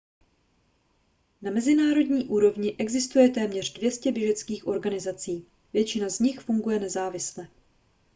na mezinárodní úrovni existuje téměř 200 běžeckých organizací většina z nich funguje nezávisle